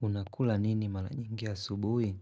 Unakula nini mara nyingi ya asubuhi?